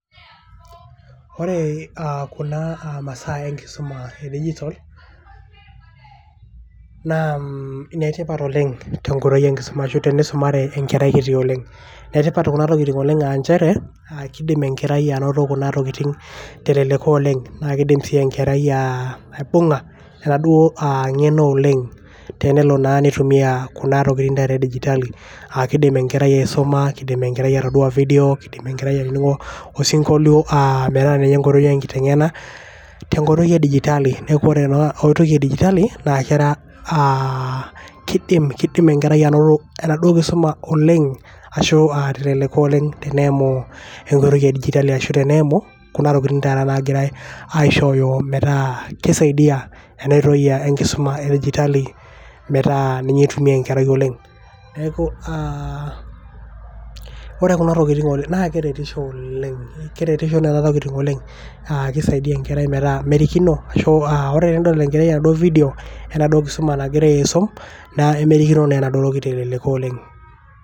Ore aa kuna masaa enkisuma e digital naa inetipat oleng te nkoitoi e nkisuma ashu tenisumare enkerai kiti oleng. Inetipat kuna tokiting oleng aa nchere, kidim enkerai anoto kuna tokiting aa teleleko oleng. Naa kidim enkerai aibung`a eng`eno oleng tenelo nitumia kuna tokiting e digiatali. Kidim enkerai aisuma, kidim enkerai atodua video, kidim enkerai ainining`o osinkolio metaa ninye enkoitoi e nkineneng`a tenkoitoi e digitali. Metaa ore ena oitoi e digitali aa kidim enkerai anoto enaduo kisuma oleng ashu te leleko oleng teneimu enkoitoi e digitali ashu teneimu kuna tokitin taata naagirai aishooyo metaa kisaidia ena oitoi enkisuma e digitali metaa ninye eitumia enkerai oleng. Niaku aa ore kuna tokitin oleng naa keretisho oleng, keretisho nena tokiting oleng keisaidia enkerai metaa merikino ashu aa ore tenedol enaduo kerai enaduo video enaduo kisuma nang`ira aisum nemerikino naa teleleko oleng.